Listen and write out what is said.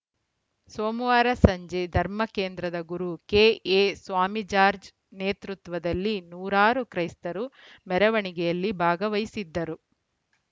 ಸೋಮವಾರ ಸಂಜೆ ಧರ್ಮಕೇಂದ್ರದ ಗುರು ಕೆಎ ಸ್ವಾಮಿಜಾಜ್‌ರ್‍ ನೇತೃತ್ವದಲ್ಲಿ ನೂರಾರು ಕ್ರೈಸ್ತರು ಮೆರವಣಿಗೆಯಲ್ಲಿ ಭಾಗವಹಿಸಿದ್ದರು